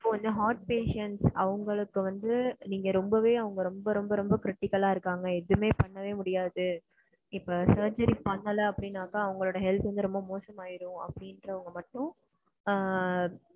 இப்போ வந்து heart patient அவங்களுக்கு வந்துட்டு நீங்க ரெம்பவே அவங்கள ரெம்ப ரெம்ப ரெம்ப critical அ இருகாங்க அவங்களுக்கு எதுமே பண்ண முடியாது. இப்போ surcery பண்ணலன்னா அவங்க health ரெம்ப மோசம் ஆயிடும் அப்படிங்குறவுங்க மட்டும்,